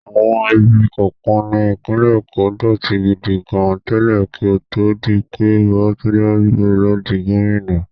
Àwọn ibi kọ̀ọ̀kan ní ìpínlẹ̀ Èkó dọ̀tí gidi gan tẹ́lẹ̀ kí ó tó di pé Babátúndé Rájí Fáṣọlá di gómìnà.